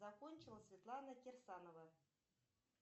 закончила светлана кирсанова